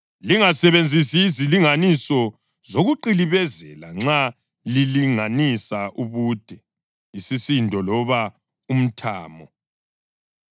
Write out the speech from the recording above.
Lingasebenzisi izilinganiso zokuqilibezela nxa lilinganisa ubude, isisindo loba umthamo.